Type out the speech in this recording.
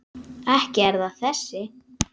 Ekki er það þessi.